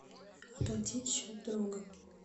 оплатить счет друга